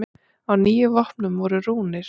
Á níu vopnum voru rúnir.